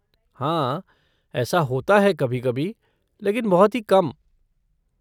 हाँ, ऐसा होता है कभी कभी, लेकिन बहुत ही कम।